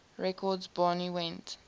records barney went